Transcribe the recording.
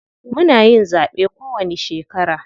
Muna yin zaɓe kowanni shekara.